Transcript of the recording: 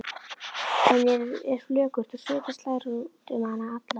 Henni er flökurt og svita slær út um hana alla.